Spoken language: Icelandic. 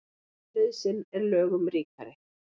Nauðsyn er lögum ríkari.